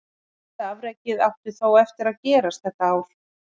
Helsta afrekið átti þó eftir gerast þetta ár.